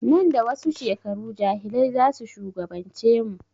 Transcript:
Nan da wasu shekaru jahilai zasu shugaban ce mu